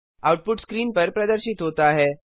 output screen पर प्रदर्शित होता है